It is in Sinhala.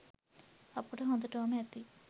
අපට හොඳටෝම ඇති